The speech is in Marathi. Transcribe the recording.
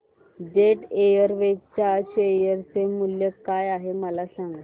जेट एअरवेज च्या शेअर चे मूल्य काय आहे मला सांगा